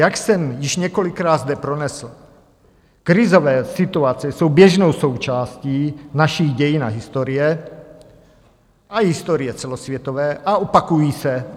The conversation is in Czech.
Jak jsem již několikrát zde pronesl, krizové situace jsou běžnou součástí našich dějin a historie a historie celosvětové a opakují se.